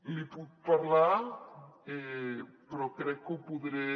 li puc parlar però crec que ho podré